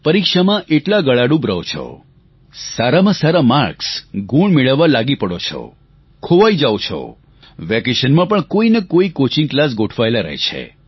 પરીક્ષામાં એટલા ગળાડૂબ રહો છો સારામાં સારા માર્ક્સગુણ મેળવવા લાગી પડો છો ખોવાઈ જાવ છો વેકેશનમાં પણ કોઈ ને કોઈ કોચિંગ ક્લાસ ગોઠવાયેલા રહે છે